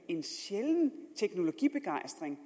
en sjælden teknologibegejstring